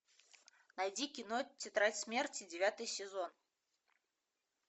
найди кино тетрадь смерти девятый сезон